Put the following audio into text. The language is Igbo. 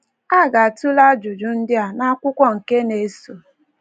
A ga - atụle ajụjụ ndị a n’akwụkwọ nke na-eso.